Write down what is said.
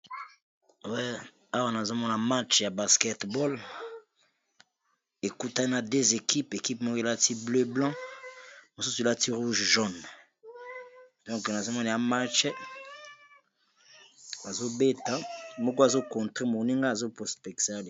awa nazomona match ya basketball ekutana 2 ekipe ekipe moko elati bozinga na pembe ,mosusu elati motane na mosaka.